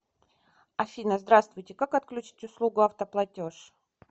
афина здравствуйте как отключить услугу автоплатеж